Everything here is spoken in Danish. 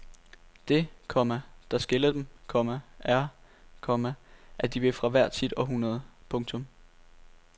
Det, komma der skiller dem, komma er, komma at de er fra hvert sit århundrede. punktum